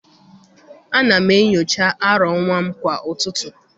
ana m enyocha arọ nwa m kwa ụtụtụ.